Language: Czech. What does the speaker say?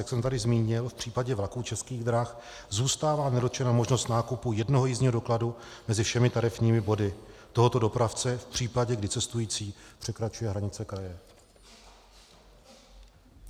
Jak jsem tady zmínil, v případě vlaků Českých drah zůstává nedotčena možnost nákupu jednoho jízdního dokladu mezi všemi tarifními body tohoto dopravce v případě, kdy cestující překračuje hranice kraje.